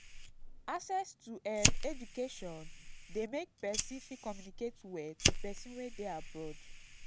access to um education de make persin fit communicate well to persin wey de abroad